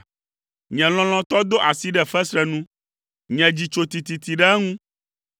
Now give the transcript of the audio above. Nye lɔlɔ̃tɔ do asi ɖe fesre nu, nye dzi tso tititi ɖe eŋu.